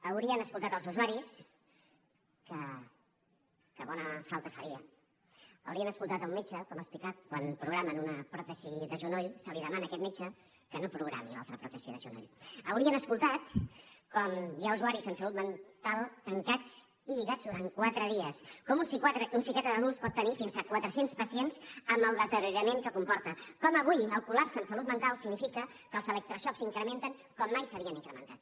haurien escoltat els usuaris que bona falta faria haurien escoltat un metge com ha explicat quan programen una pròtesi de genoll se li demana a aquest metge que no programi l’altra pròtesi de genoll haurien escoltat com hi ha usuaris en salut mental tancats i lligats durant quatre dies com un psiquiatre d’adults pot tenir fins a quatre cents pacients amb el deteriorament que comporta com avui el col·lapse en salut mental significa que els electroxocs s’incrementen com mai s’havien incrementat